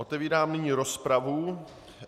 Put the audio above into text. Otevírám nyní rozpravu.